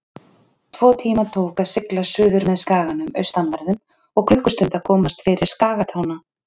Tvo tíma tók að sigla suðurmeð skaganum austanverðum og klukkustund að komast fyrir skagatána.